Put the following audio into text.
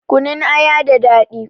Kunun aya da daɗi